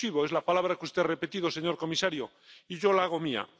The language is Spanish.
inclusivo es la palabra que usted ha repetido, señor comisario, y yo la hago mía.